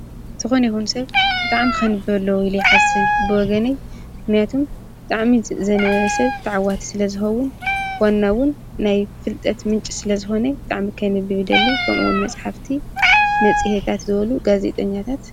ዝኾነ ይኹን ሰብ ብጣዕሚ ከንብብ አለዎ ኢለ ይሓስብ፣ ብወገነይ ምክንያቱም ዘንበብ ሰብ ተዓዋቲ ስለዝኸውን፣ ዋና እውን ናይ ፍልጠት ምንጪ ስለዝኾነ ብጣዕሚ ከንብብ ይደሊ ከም መፅሓፍቲ መፅሄታት ዝበሉ ጋዜጠኛታት።